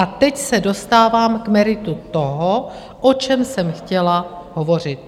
A teď se dostávám k meritu toho, o čem jsem chtěla hovořit.